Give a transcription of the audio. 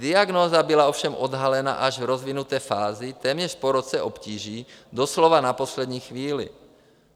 Diagnóza byla ovšem odhalena až v rozvinuté fázi, téměř po roce obtíží, doslova na poslední chvíli.